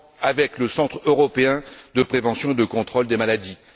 avec le Centre européen de prévention et de contrôle des maladies.